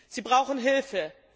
Sie brauchen Hilfe.